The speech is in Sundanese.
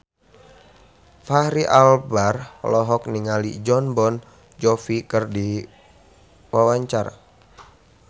Fachri Albar olohok ningali Jon Bon Jovi keur diwawancara